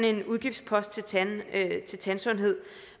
er en udgiftspost til tandsundhed